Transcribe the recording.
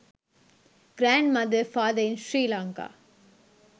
grand mother father in sri lanka